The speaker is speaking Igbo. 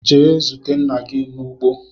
Jee zute nna gi n'ugbo!